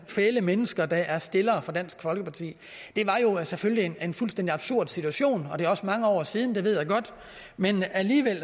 fæle mennesker der er stillere for dansk folkeparti det var selvfølgelig en fuldstændig absurd situation og det er også mange år siden det ved jeg godt men alligevel